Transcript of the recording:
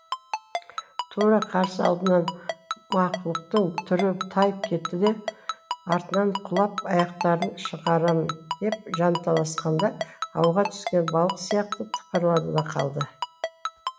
тура қарсы алдынан мақұлықтың түрі тайып кетті де артынан құлап аяқтарын шығарамын деп жанталасқанда ауға түскен балық сияқты тыпырлады да қалды